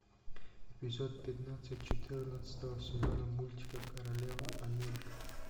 эпизод пятнадцать четырнадцатого сезона мультика королева америка